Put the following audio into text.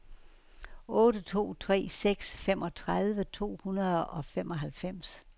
otte to tre seks femogtredive to hundrede og femoghalvfems